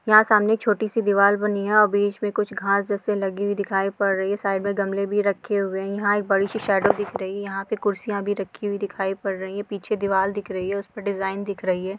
यहां सामने एक छोटी सी दिवार बनी है बीच में कुछ घास जैसी लगी हुई दिखाई पड़ रही है साइड में गमले भी रखे हुए है यहां एक बड़ी सी सेडो दिख रही है यहां पे कुर्सियां भी रखी हुई दिखाई पड़ रही है पीछे दिवार दिख रही है उसपे डिज़ाइन दिख रही है।